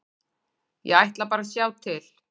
Ég ætla bara að sjá til.